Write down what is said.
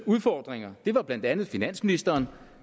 udfordringer det var blandt andet finansministeren